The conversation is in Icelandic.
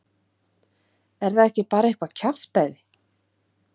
Er það ekki bara eitthvað kjaftæði?